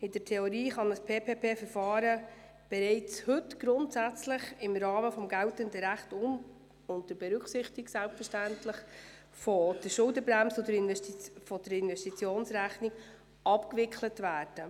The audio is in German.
In der Theorie kann ein PPPVerfahren bereits heute im Rahmen des geltenden Rechts unter Berücksichtigung der Schuldenbremse und der Investitionsrechnung abgewickelt werden.